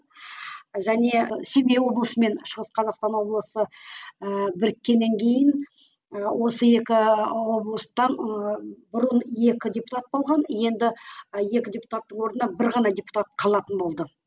және семей облысы мен шығыс қазақстан облысы ііі біріккеннен кейін ы осы екі облыстан ыыы бұрын екі депутат болған енді екі депутаттың орнына бір ғана депутат қалатын болды